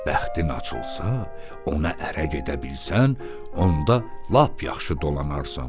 Bəxtin açılsa, ona ərə gedə bilsən, onda lap yaxşı dolanarsan.